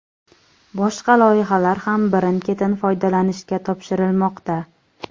Boshqa loyihalar ham birin-ketin foydalanishga topshirilmoqda.